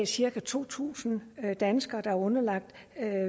cirka to tusind danskere der er underlagt